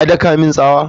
Ya daka min tsawa?